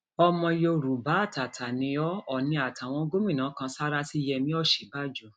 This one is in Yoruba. ọmọ yorùbá àtàtà ni ó òòní àtàwọn gómìnà kan sáárá sí yẹmi òsínbàjò